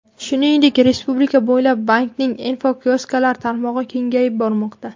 Shuningdek, respublika bo‘ylab bankning infokiosklari tarmog‘i kengayib bormoqda.